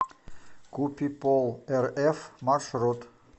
купиполрф маршрут